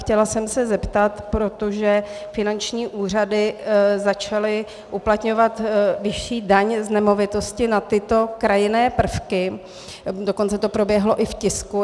Chtěla jsem se zeptat, protože finanční úřady začaly uplatňovat vyšší daň z nemovitosti na tyto krajinné prvky, dokonce to proběhlo i v tisku.